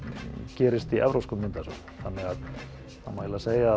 gerist í evrópskum myndasögum þannig að það má segja að